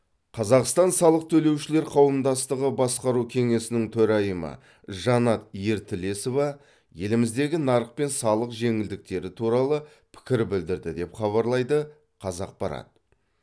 қазақстан салық төлеушілер қауымдастығы басқару кеңесінің төрайымы жанат ертілесова еліміздегі нарық пен салық жеңілдіктері туралы пікір білдірді деп хабарлайды қазақпарат